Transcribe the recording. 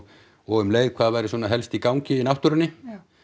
og um leið hvað væri svona helst í gangi í náttúrunni